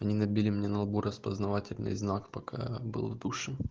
они набили мне на лбу распознавательный знак пока был в душе